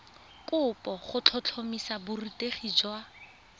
kopo go tlhotlhomisa borutegi jwa